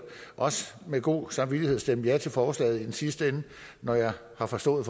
også med god samvittighed stemme ja til forslaget i den sidste ende når jeg har forstået